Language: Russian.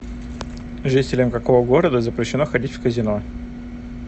жителям какого города запрещено ходить в казино